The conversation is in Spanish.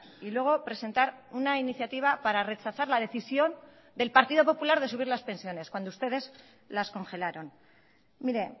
y luego presentar una iniciativa para rechazar la decisión del partido popular de subir las pensiones cuando ustedes las congelaron mire